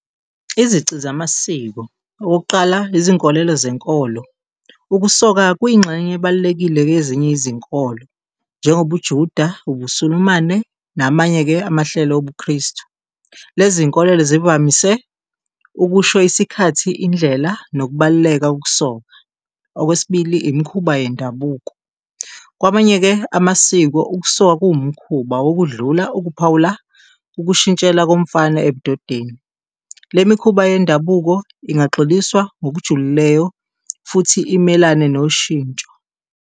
Izici zamasiko okokuqala izinkolelo zenkolo, ukusoka kuyingxenye ebalulekile kwezinye izinkolo njengobuJuda, ubuSulumane namanye-ke amahlelo obuKristu. Lezi zinkolelo zivamise ukusho isikhathi, indlela nokubaluleka ukusoka. Okwesibili, imikhuba yendabuko, kwamanye-ke amasiko ukusoka kuwumkhuba wokudlula, ukuphawula, ukushintshela komfana ebudodeni, lemikhuba yendabuko ingxiliswa ngokujulileyo futhi imelane noshintsho.